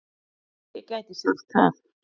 Já, ég gæti sagt það.